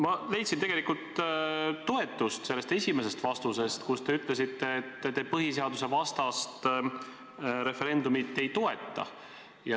Ma leidsin tegelikult toetust sellest esimesest vastusest, kus te ütlesite, et te põhiseadusvastast referendumit ei toeta.